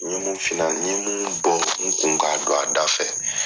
N ɲe mun f'u n ɲe bɔ n kun k'a don a da fɛ.